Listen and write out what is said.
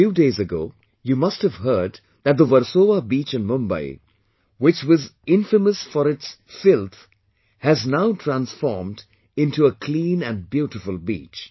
A few days ago, you must have heard that the Versova beach in Mumbai, which was infamous for its filth has now transformed into a a clean and beautiful beach